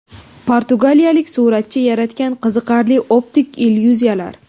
Portugaliyalik suratchi yaratgan qiziqarli optik illyuziyalar .